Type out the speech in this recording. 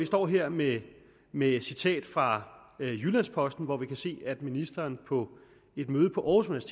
står her med med et citat fra jyllands posten hvor vi kan se at ministeren på et møde på aarhus